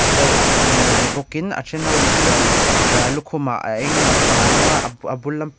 deuh ni bawkin a ṭhen ho hian ehh lukhumah a eng lampang a bul lampang--